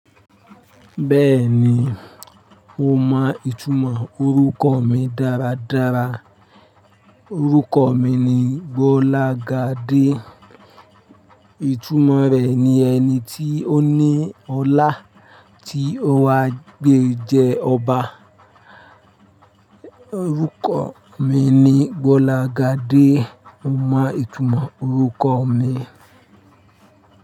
Bẹ́ẹ̀ni, mo mọ ìtumọ̀ orúkọ mi dáradára. Orúkọ mi ni Gbolagade. Ìtumọ̀ rẹ̀ ni ẹni tí ó ní ọlá tí ó wá gbé jẹ ọba. Orúkọ mi ni Gbolagade. Mo mọ ìtumọ̀ orúkọ mi.